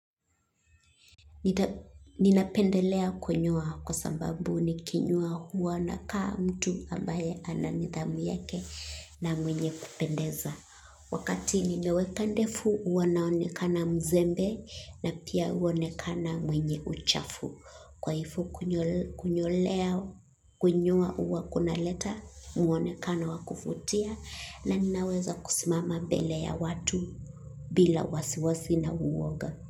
Ninapendelea kunyoa kwa sababu nikinyoa huwa nakaa mtu ambaye ana nidhamu yake na mwenye kupendeza. Wakati ninaweka ndevu huwa naonekana mzembe na pia huonekana mwenye uchafu. Kwa hivyo kunyoa huwa kunaleta mwonekano wa kuvutia na ninaweza kusimama mbele ya watu bila wasiwasi na woga.